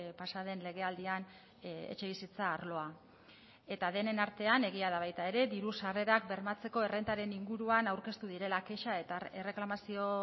pasaden legealdian etxebizitza arloa eta denen artean egia da baita ere diru sarrerak bermatzeko errentaren inguruan aurkeztu direla kexa eta erreklamazio